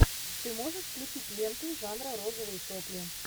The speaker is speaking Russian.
ты можешь включить ленту жанра розовые сопли